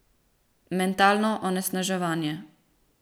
Mentalno onesnaževanje.